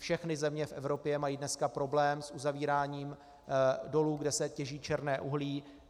Všechny země v Evropě mají dneska problém s uzavíráním dolů, kde se těží černé uhlí.